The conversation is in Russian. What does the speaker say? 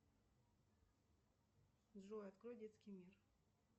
джой открой детский мир